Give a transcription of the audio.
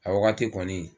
A wagati kɔni